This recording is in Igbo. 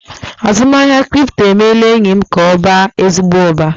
Azụmahịa kripto emeela enyi m ka ọ baa ezigbo uba.